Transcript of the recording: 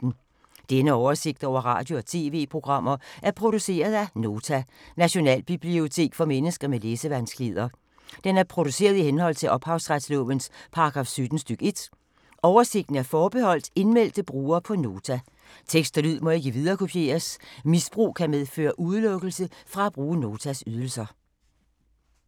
Denne oversigt over radio og TV-programmer er produceret af Nota, Nationalbibliotek for mennesker med læsevanskeligheder. Den er produceret i henhold til ophavsretslovens paragraf 17 stk. 1. Oversigten er forbeholdt indmeldte brugere på Nota. Tekst og lyd må ikke viderekopieres. Misbrug kan medføre udelukkelse fra at bruge Notas ydelser.